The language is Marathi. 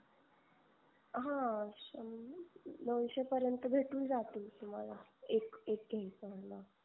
हा सम नऊशे पर्यन्त भेटून जतिल तुम्हाला एक एक